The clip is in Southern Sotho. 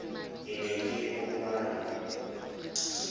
ke ne ke o kala